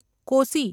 Kosi